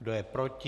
Kdo je proti?